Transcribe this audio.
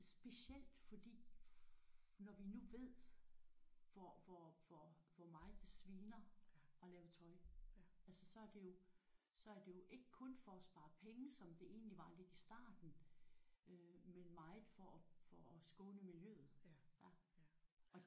Specielt fordi når vi nu ved hvor hvor hvor hvor meget det sviner at lave tøj altså så er det jo så er det jo ikke kun for at spare penge som det egentlig var lidt i starten men meget for for at skåne miljøet